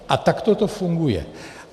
A takto to funguje.